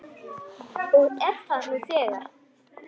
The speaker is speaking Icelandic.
Og er það nú þegar.